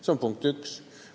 See on punkt üks.